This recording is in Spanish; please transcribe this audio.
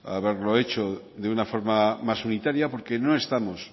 haberlo hecho de una forma más unitaria porque no estamos